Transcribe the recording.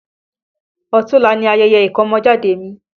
Ọ̀tunla ni ayẹyẹ ìkọ́mọjáde mi